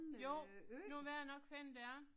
Jo, jo det er nok sådan en det er